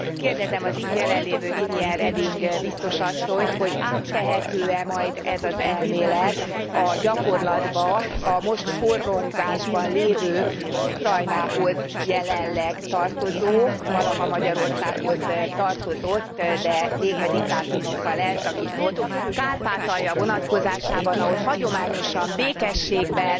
Kérdezem az itt jelen lévő Viviane Reding biztos asszonyt, hogy áttehető e majd ez az elmélet a gyakorlatba a most forrongásban lévő Ukrajnához jelenleg tartozó, valaha Magyarországhoz tartozott, de békediktátumokkal elszakított Kárpátalja vonatkozásában, ahol hagyományosan békességben